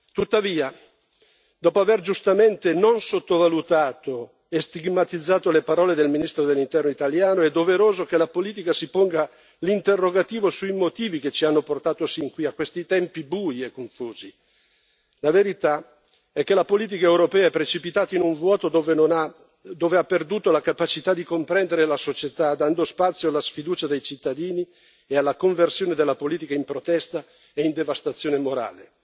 Tuttavia, dopo aver giustamente non sottovalutato e stigmatizzato le parole del ministro dell'Interno italiano, è doveroso che la politica si ponga l'interrogativo sui motivi che ci hanno portato sin qui, a questi tempi bui e confusi la verità è che la politica europea è precipitato in un vuoto dove ha perduto la capacità di comprendere la società, dando spazio alla sfiducia dei cittadini e alla conversione della politica in protesta e in devastazione morale.